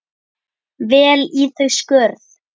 vel í þau skörð?